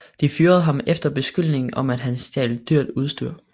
De fyrede ham efter beskyldning om at han stjal dyrt udstyr